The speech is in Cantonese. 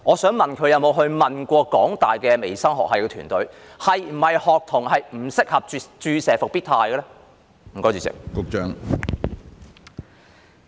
局方有否詢問香港大學微生物學系團隊，學童是否不適合注射復必泰呢？